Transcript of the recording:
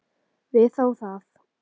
Við þáðum það.